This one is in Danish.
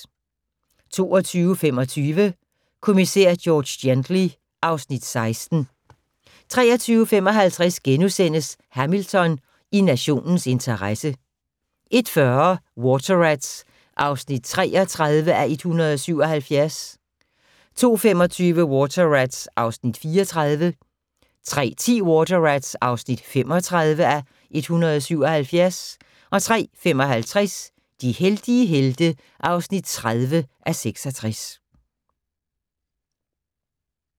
22:25: Kommissær George Gently (Afs. 16) 23:55: Hamilton: I nationens interesse * 01:40: Water Rats (33:177) 02:25: Water Rats (34:177) 03:10: Water Rats (35:177) 03:55: De heldige helte (30:66)